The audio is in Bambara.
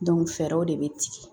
fɛɛrɛw de be tigɛ